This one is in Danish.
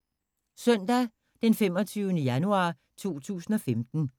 Søndag d. 25. januar 2015